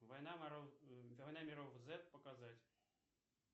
война воров война миров зет показать